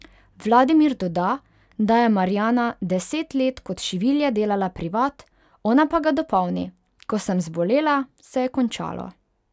Vladimir doda, da je Marjana deset let kot šivilja delala privat, ona pa ga dopolni: 'Ko sem zbolela, se je končalo.